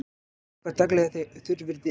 Vökvað daglega þegar þurrviðri er.